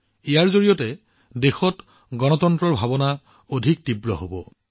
ই দেশত গণতন্ত্ৰৰ চেতনাক অধিক শক্তিশালী কৰিব